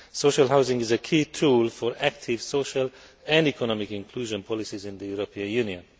Social housing is a key tool for active social and economic inclusion policies in the European Union.